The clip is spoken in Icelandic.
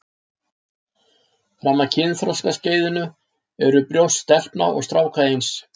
Fram að kynþroskaskeiðinu eru brjóst stelpna og stráka eins.